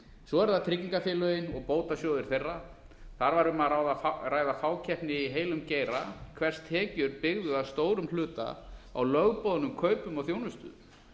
svo eru það tryggingafélögin og bótasjóðir þeirra þar var um að ræða fákeppni í heilum geira hvers tekjur byggðu að stórum hluta á lögboðnum kaupum á þjónustu